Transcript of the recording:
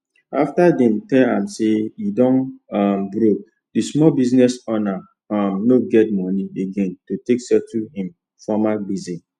after dem tell am say e don um broke d small business owner um no get moni again to take settle him former gbese